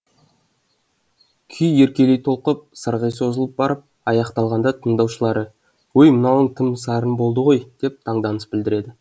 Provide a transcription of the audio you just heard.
күй еркелей толқып сырғи созылып барып аяқталғанда тыңдаушылары өй мынауың тың сарын болды ғой деп таңданыс білдіреді